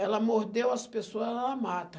Ela mordeu as pessoa, ela mata.